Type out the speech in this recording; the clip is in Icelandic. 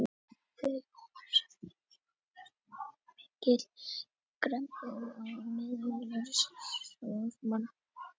Heimir: Þú kannast við að það er mikil gremja á meðal starfsmanna?